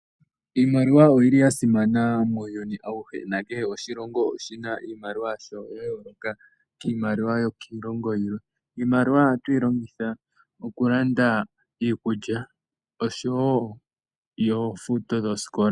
Iimaliwa oyi li ya simana muuyuni auhe, na kehe oshilongo oshi na oshimaliwa yasho ya yooloka kiimaliwa yokiilongo yilwe. Iimaliwa oha tu yi lobgitha oku landa iikulya, osho wo yoofuto dhoosiikola.